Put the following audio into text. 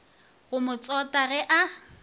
go mo tsota ge a